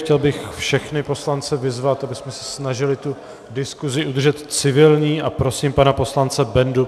Chtěl bych všechny poslance vyzvat, abychom se snažili tu diskusi udržet civilní, a prosím pana poslance Bendu.